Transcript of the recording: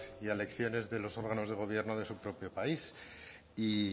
y a elecciones de los órganos de gobierno de su propio país y